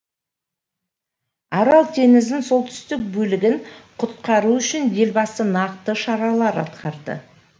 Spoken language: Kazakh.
арал теңізінің солтүстік бөлігін құтқару үшін елбасы нақты шаралар атқарды